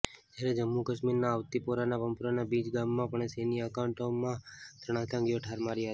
જ્યારે જમ્મુ કાશ્મીરના અવતિપોરાના પંપોરના મીજ ગામમાં પણ સેન્ય એનકાઉન્ટરમાં ત્રણ આતંકવાદીઓ ઠાર મરાયા હતા